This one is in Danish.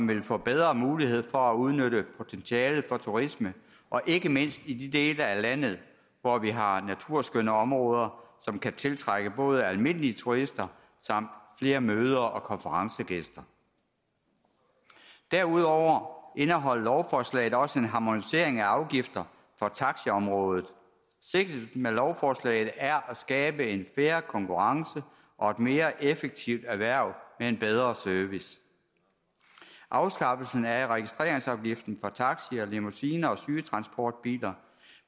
vil få bedre mulighed for at udnytte potentialet for turisme ikke mindst i de dele af landet hvor vi har naturskønne områder som kan tiltrække både almindelige turister og flere møde og konferencegæster derudover indeholder lovforslaget også en harmonisering af afgifterne på taxiområdet sigtet med lovforslaget er at skabe en fair konkurrence og et mere effektivt erhverv med en bedre service afskaffelsen af registreringsafgiften for taxier limousiner og sygetransportbiler